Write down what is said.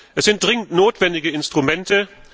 Es sind dringend notwendige Instrumente.